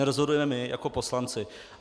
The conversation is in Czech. Nerozhodujeme my jako poslanci.